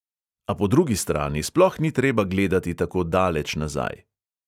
A po drugi strani sploh ni treba gledati tako daleč nazaj.